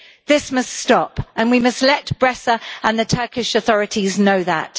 This must stop, and we must let Bresser and the Turkish authorities know that.